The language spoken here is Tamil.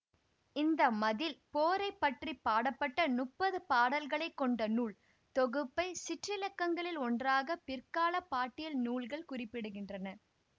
இந்த மதில் போரை பற்றி பாடப்பட்ட முப்பது பாடல்களை கொண்ட நூல் தொகுப்பைச் சிற்றிலக்கியங்களில் ஒன்றாக பிற்காலப் பாட்டியல் நூல்கள் குறிப்பிடுகின்றன